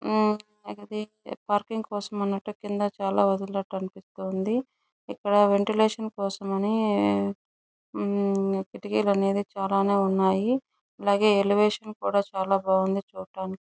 ఆ అది పార్కింగ్ కోసం అన్నట్టు కింద చాల వదిలినట్టు అనిపిస్తుంది ఇక్కడ వెంటిలేషన్ కోసం అని ఆ కిటికీలు అనేవి చాల నే ఉన్నాయ్ అలాగే ఎలేవేషన్ కూడా చాల బాగుంది చూడటానికి --